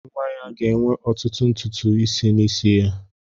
Nwa ya ga-enwe ọtụtụ ntutu isi n'isi ya.